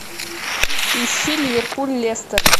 ищи ливерпуль лестер